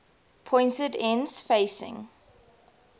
pointed ends facing